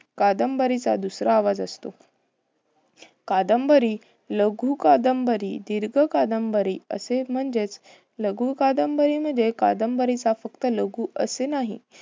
कादंबरीचा दुसरा आवाज असतो. कादंबरी लघुकादंबरी, दिर्घकादंबरी असे म्हणजेच, लघुकादंबरी म्हणजे कादंबरीचा फक्त लघु असे नाही.